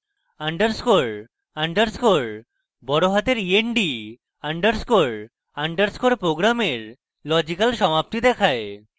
underscore underscore e n d সব বড়হাতে underscore underscore program logical সমাপ্তি দেখায়